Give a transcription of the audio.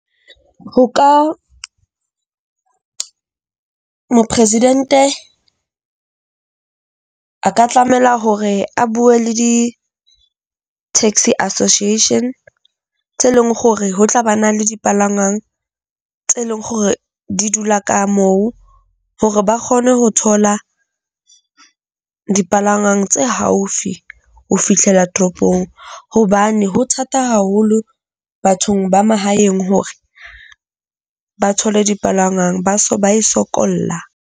Ho ka mopresidente a ka tlamela hore a bue le di-taxi association tse leng hore ho tla ba na le dipalangwang tse leng hore di dula ka moo hore ba kgone ho thola dipalangwang tse haufi ho fihlela toropong. Hobane ho thata haholo bathong ba mahaeng hore ba thole dipalangwang, ba so ba e sokolla.